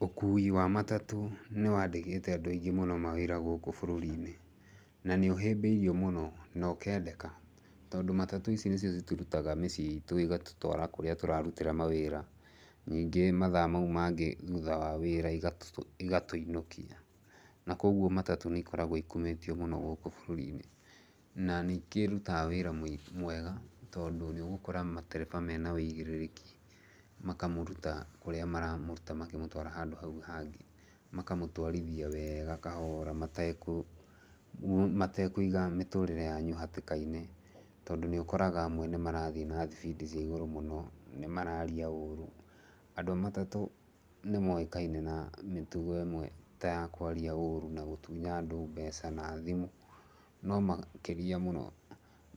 Ũkui wa matatũ nĩ wandĩkĩte andũ aingĩ mũno gũkũ bũrũri-inĩ, na nĩ ũhĩmbĩirio mũno na ũkendeka tondũ matatũ ici nĩcio citũrutaga mĩciĩ itu igatũtwara kũrĩa tũrarutĩra mawĩra. Ningĩ mathaa mau mangĩ thutha wa wĩra igatũinũkia. Na kwoguo matatũ nĩ ikoragwo ikumĩtio mũno gũkũ bũrũri-in. Na nĩ ikĩrutaga wĩra mwega tondũ nĩ ũgũkora matereba mena ũigĩrĩrĩki makamũruta kũrĩa maramũruta makĩmũtwara handũ hau hangĩ. Makamũtwarithia wega kahora matekũiga mĩtũũrĩre yangu hatĩka-inĩ tondũ nĩ ũkoraga amwe nĩ marathiĩ na thibindi cia igũrũ mũno, nĩ maraaria ũũru. Andũ a matatũ nĩ moĩkaine na mĩtugo ĩmwe ta ya kwaria ũũru na gũtunya andũ mbeca na thimũ. No makĩria mũno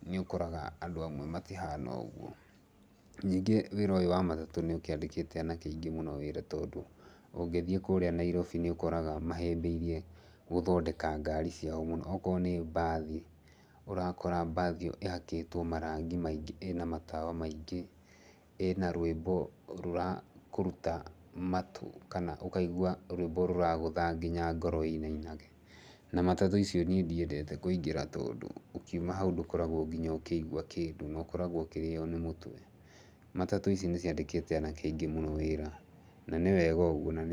nĩ ũkoraga atĩ andũ amwe matihana ũguo. Ningĩ wĩra ũyũ wa matatũ nĩ ũkĩandĩkĩte anake aingĩ mũno wĩra tondũ ũngĩthiĩ kũrĩa Nairobi nĩ ũkoraga mahĩmbĩirie ngari ciao mũno. Okorwo nĩ mbathi, ũrakora mbathi ĩyo ĩhakĩtwo marangi maingĩ, ĩna matawa maingĩ, ĩna rwĩmbo rũrakũruta matũ, kana ũkaigua rwĩmbo rũragũtha nginya ngoro ĩinainage. Na matatũ icio niĩ ndiendete kũingĩra tondũ ũkiuma hau ndũkoragwo nginya ũkĩigua kĩndũ na ũkoragwo ũkĩrĩo nĩ mũtwe. Matatũ ici nĩ ciandĩkĩte anake aingĩ wĩra na nĩ wega ũguo na nĩ.